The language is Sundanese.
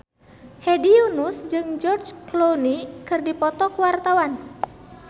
Hedi Yunus jeung George Clooney keur dipoto ku wartawan